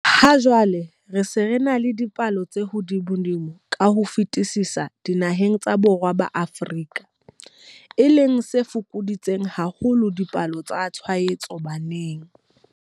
Ha jwale re se re ena le palo e hodimodimo ka ho fetisisa dinaheng tsa Borwa ba Afrika, e leng se fokoditseng haholo dipalo tsa tshwaetso baneng.